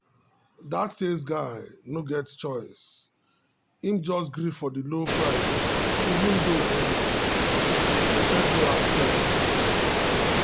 that sales guy no get choice him just gree for the low price even though um e first no accept.